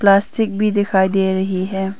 Plastic भी दिखाई दे रही है।